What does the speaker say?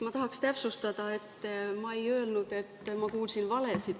Ma tahaksin täpsustada, et ma ei öelnud, et ma kuulsin valesid.